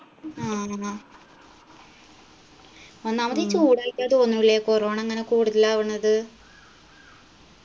ആ ഒന്നാമതീ ചൂടായിട്ടാ തോന്നുലേ corona ഇങ്ങനെ കൂടുതലാവണത്